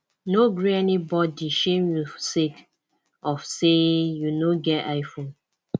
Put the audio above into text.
no gree anybodi shame you sake of sey you no get iphone